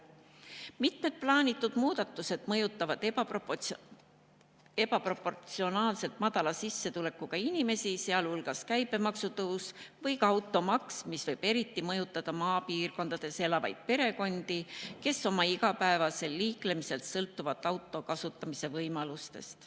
Mitmed plaanitud muudatused mõjutavad ebaproportsionaalselt tugevasti madala sissetulekuga inimesi, sealhulgas käibemaksu tõus või ka automaks, mis võib eriti mõjutada maapiirkondades elavaid perekondi, kes oma igapäevasel liiklemisel sõltuvad auto kasutamise võimalustest.